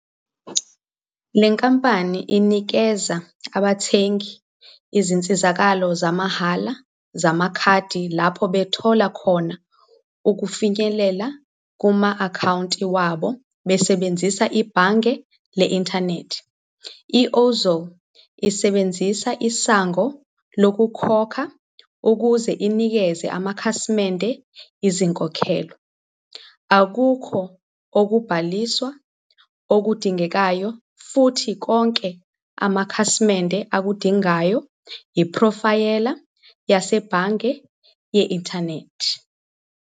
Le nkampani inikeza abathengi izinsizakalo zamahhala zamakhadi lapho bethola khona ukufinyelela kuma-akhawunti abo besebenzisa ibhange le-inthanethi. I-Ozow isebenzisa isango lokukhokha ukuze inikeze amakhasimende izinkokhelo. Akukho ukubhaliswa okudingekayo futhi konke amakhasimende akudingayo iphrofayela yasebhange ye-inthanethi.